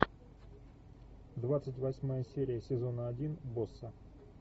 двадцать восьмая серия сезона один босса